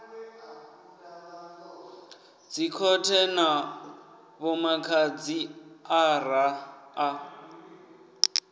dzikhothe na vhomadzhisi ara a